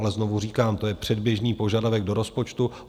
Ale znovu říkám, to je předběžný požadavek do rozpočtu.